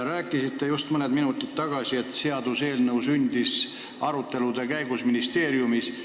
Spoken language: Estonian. Rääkisite just mõned minutid tagasi, et seaduseelnõu sündis arutelude käigus ministeeriumis.